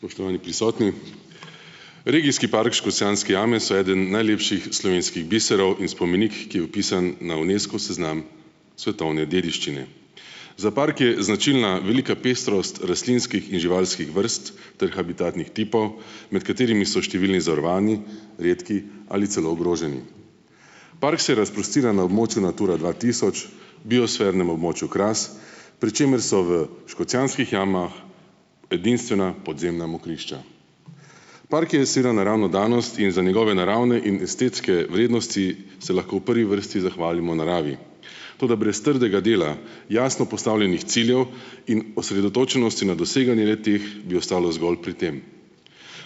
Spoštovani prisotni, regijski park Škocjanske jame so eden najlepših slovenskih biserov in spomenik, ki je vpisan na Unescov seznam svetovne dediščine. Za park je značilna velika pestrost rastlinskih in živalskih vrst ter habitatnih tipov, med katerimi so številni zavarovani, redki ali celo ogroženi. Park se razprostira na območju Natura dva tisoč, biosfernem območju Kras, pri čemer so v Škocjanskih jamah edinstvena podzemna mokrišča. Park je naravna danost in je za njegove naravne in estetske vrednosti se lahko v prvi vrsti zahvalimo naravi, toda brez trdega dela, jasno postavljenih ciljev in osredotočenosti na doseganje le-teh bi ostalo zgolj pri tem.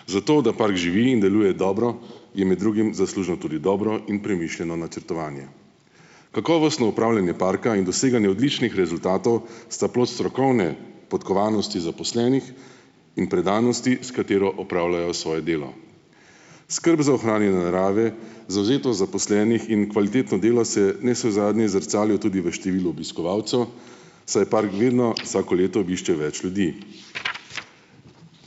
Za to, da park živi in deluje dobro, je med drugim zaslužno tudi dobro in premišljeno načrtovanje. Kakovostno upravljanje parka in doseganje odličnih rezultatov sta plod strokovne podkovanosti zaposlenih in predanosti, s katero opravljajo svoje delo. Skrb za ohranjanje narave, zavzetost zaposlenih in kvalitetno delo se navsezadnje zrcali tudi v številu obiskovalcev, saj park vedno, vsako leto vedno obišče več ljudi.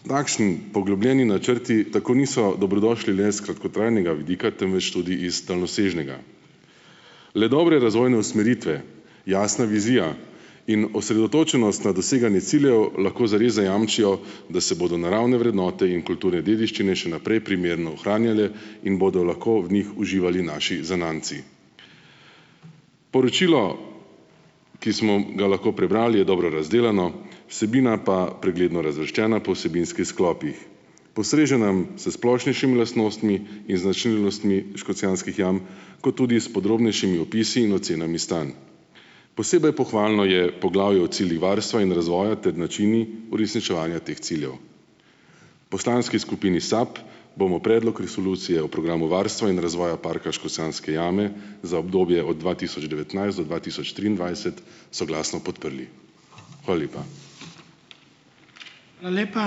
Takšni poglobljeni načrti tako niso dobrodošli le s kratkotrajnega vidika temveč tudi iz daljnosežnega. Le dobre razvojne usmeritve, jasna vizija in osredotočenost na doseganje ciljev lahko zares zajamčijo, da se bodo naravne vrednote in kulturne dediščine še naprej primerno ohranjale in bodo lahko v njih uživali naši zanamci. Poročilo, ki smo ga lahko prebrali, je dobro razdelano, vsebina pa pregledno razvrščena po vsebinskih sklopih. Postreže nam s splošnejšimi lastnostmi in značilnostmi Škocjanskih jam kot tudi s podrobnejšimi opisi in ocenami stanj. Posebej pohvalno je poglavje o ciljih varstva in razvoja ter načinih uresničevanja teh ciljev. Poslanski skupini SAB bomo predlog resolucije o programu varstva in razvoja Parka Škocjanske jame za obdobje od dva tisoč devetnajst do dva tisoč triindvajset soglasno podprli. Hvala lepa.